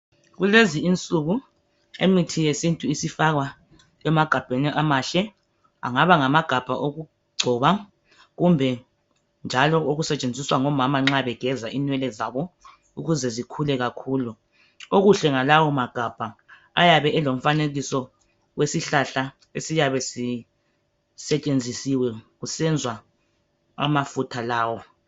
Kulezi insuku imithi yesintu isifakwa emagabheni amahle angaba ngamagabha okugcoba kumbe njalo okusetshenziswa ngomama nxa begeza inwele zabo ukuze zikhule kakhulu okuhle ngalawo magabha ayabe elomfanekiso wesihlahla esiyabe sisetshenziswe kusenziwa amafutha lawo